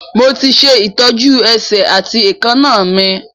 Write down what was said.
Mo ti ṣe ìtọ́jú ẹsẹ̀ àti èékánná mi